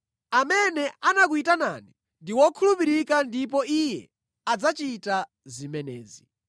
Amene anakuyitanani ndi wokhulupirika ndipo Iye adzachita zimenezi.